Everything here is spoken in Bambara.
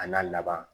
A n'a laban